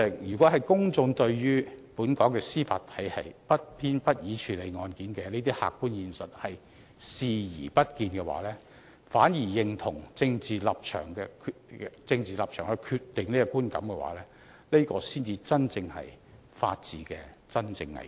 如果公眾對本港司法體系不偏不倚處理案件的這些客觀現實視而不見，反而認同由政治立場決定這個觀感，才是法治的真正危機。